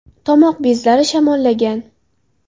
Tomoq bezlari shamollagan!